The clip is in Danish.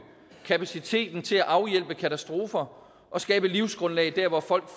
kapaciteten til at afhjælpe katastrofer og skabe livsgrundlag der hvorfra